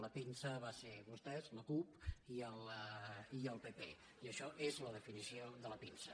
la pinça van ser vostès la cup i el pp i això és la definició de la pinça